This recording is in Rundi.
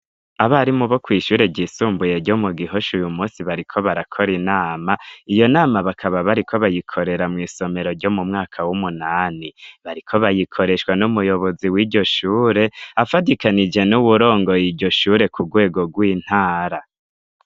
Abarimu bo kwishure ryisumbuye ryo mu gihoshe uyu munsi bariko barakora inama iyo nama bakaba bariko bayikorera mw'isomero ryo mu mwaka w'umunani bariko bayikoreshwa n'umuyobozi wiryo shure afatikanije n'uwurongoye iryo shure ku rwego rw'intara.